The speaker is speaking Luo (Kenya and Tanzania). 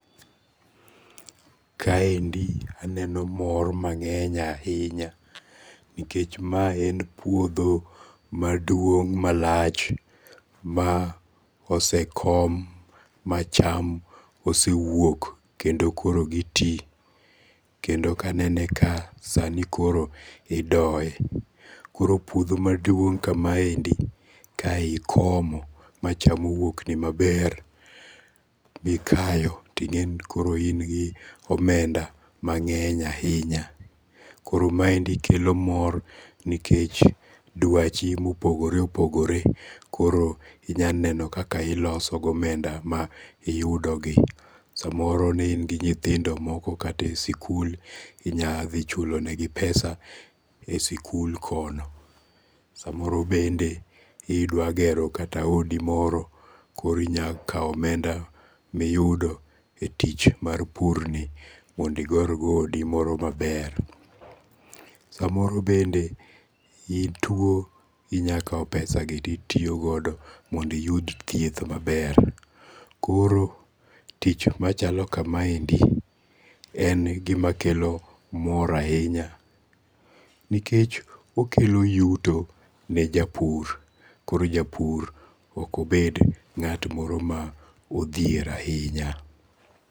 Ka endi aneno mor mang'eny ahinya nikech ma en puodho maduong' malach ma osekom ma cham osewuok kendo koro giti. Kendo kanenene ka sani koro idoye. Koro puodho maduong' kama endi ka ikoimo ma cham owuok ni maber mi kayo, ting'eni koro in gi omenda mang'eny ahinya. Koro maendi kelomor nikech dwachi mopogore opogore koro inya neno kaka iloso gi omenda ma iyudo gi. Samoro ne in gi nyithindo moko kata e sikul, inya dhi chulo negi pesa e sikul kono. Samoro bende idwa gero kata odi moro koro inya kaw omenda miyudo e tich mar pur ni mondo iger godo odi maber. Samoro bende ituo, inya kaw pesa gi titiyogodo mondo iyud thieth maber. Koro tich machalo kama endi en gima kelo mor ahinya nikech okelo yuto ne japur koro japur ok obed ng'at moro modhier ahinya.